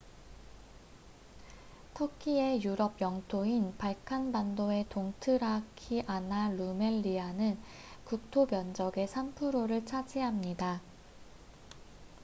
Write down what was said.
터키의 유럽 영토인 발칸반도의 동트라키아나 루멜리아는 국토 면적의 3%를 차지합니다